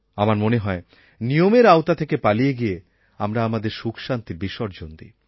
আমার মনে হয় নিয়মের আওতা থেকে পালিয়ে গিয়ে আমরা আমাদের সুখশান্তি বিসর্জন দিই